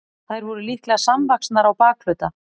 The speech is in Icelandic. þær voru líklega samvaxnar á bakhluta